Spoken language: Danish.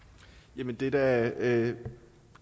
jamen det er da